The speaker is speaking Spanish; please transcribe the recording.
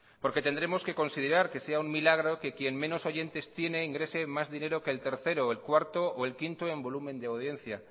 porque tendremos que considerar que sea un milagro que quien menos oyentes tiene ingrese más dinero que el tercero o el cuarto o el quinto en volumen de audiencia